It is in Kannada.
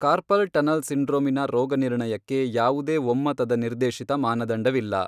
ಕಾರ್ಪಲ್ ಟನಲ್ ಸಿಂಡ್ರೋಮಿನ ರೋಗನಿರ್ಣಯಕ್ಕೆ ಯಾವುದೇ ಒಮ್ಮತದ ನಿರ್ದೇಶಿತ ಮಾನದಂಡವಿಲ್ಲ.